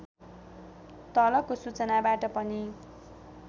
तलको सूचनाबाट पनि